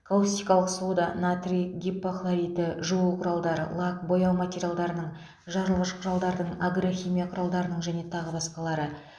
каустикалық сода натрий гипохлориті жуу құралдары лак бояу материалдарының жарылғыш құралдардың агрохимия құралдарының және тағы басқалары